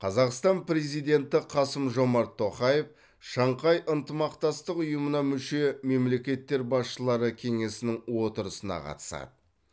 қазақстан президенті қасым жомарт тоқаев шанхай ынтымақтастық ұйымына мүше мемлекеттер басшылары кеңесінің отырысына қатысады